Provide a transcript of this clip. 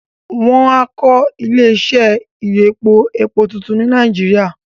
Wọ́n á kọ́ Ilé iṣẹ́ ibi ìyọpọ epo tuntun ní Nàìjíríà